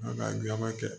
An ka ɲaman kɛ